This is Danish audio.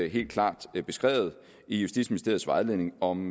helt klart beskrevet i justitsministeriets vejledning om